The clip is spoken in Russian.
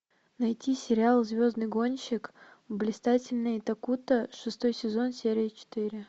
найти сериал звездный гонщик блистательный такуто шестой сезон серия четыре